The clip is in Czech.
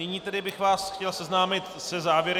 Nyní tedy bych vás chtěl seznámit se závěry...